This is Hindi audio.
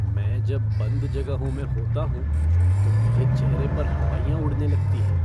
मैं जब बंध जगहों में होता हूँ तो मेरे चेहरे पर हवाइयाँ उड़ने लगती हैं।